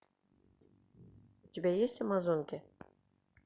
у тебя есть амазонки